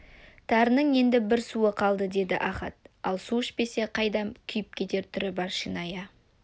тарының енді бір суы қалды деді ахат ал су ішпесе қайдам күйіп кетер түрі бар шиная